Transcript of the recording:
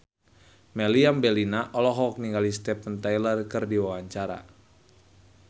Meriam Bellina olohok ningali Steven Tyler keur diwawancara